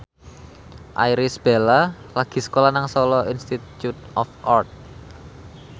Irish Bella lagi sekolah nang Solo Institute of Art